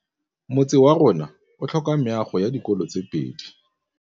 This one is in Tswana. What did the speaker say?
Motse warona o tlhoka meago ya dikolô tse pedi.